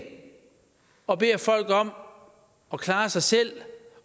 og beder folk om at klare sig selv